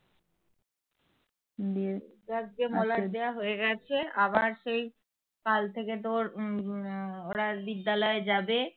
কাল থেকে ওর কাল থেকে ওরা বিদ্যালয় যাবে